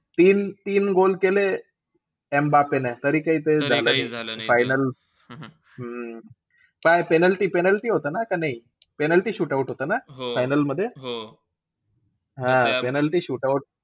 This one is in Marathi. तीन~ तीन goal केले एम्बाप्पेने तरी काही ते झालं नाई ते final. हम्म काय penalty penalty होत ना का नई? penalty shootout होतं ना final मध्ये? हां penalty shootout.